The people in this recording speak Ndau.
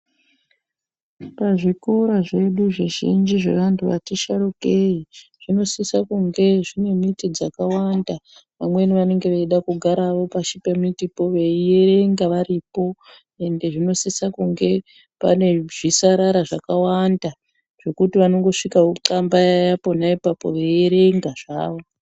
Pazvikora zvedu zvizhinji zvevanthu vati sharukei zvinosisa kunge zvine miti dzakawanda. Vamweni vanenge veida kugara hawo pashi pemitipo veierenga varipo. Ende zvinosisa kunge pane zvisarara zvakawanda zvokuti vanongosvika vonxambaya pona ipapo veierenga zvawo.